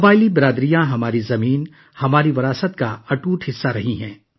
قبائلی برادریاں ہماری سرزمین، ہمارے ورثے کا اٹوٹ حصہ رہی ہیں